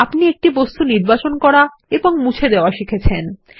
আপনি একটি বস্তু নির্বাচন করা এবং মুছে দেওয়া শিখেছেন